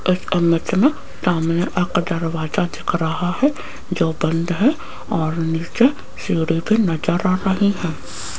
इस इमेज में सामने एक दरवाजा दिख रहा है जो बंद है और नीचे सीढ़ी भी नजर आ रही हैं।